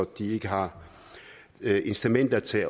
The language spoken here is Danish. de ikke har incitamenter til